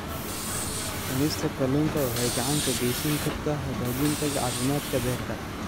Cunista kalluunka waxay gacan ka geysan kartaa hagaajinta caafimaadka beerka.